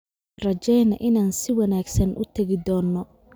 Aan rajayno inaan si wanaagsan uu tagii doono